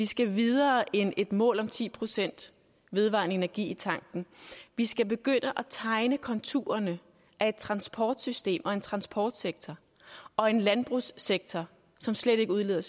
skal vi videre end et mål om ti procent vedvarende energi i tanken vi skal begynde at tegne konturerne af et transportsystem og en transportsektor og en landbrugssektor som slet ikke udleder